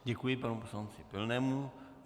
Děkuji panu poslanci Pilnému.